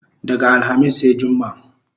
Daga alhamis sai jumma